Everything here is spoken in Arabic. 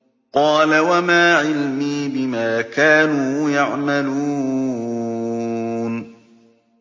قَالَ وَمَا عِلْمِي بِمَا كَانُوا يَعْمَلُونَ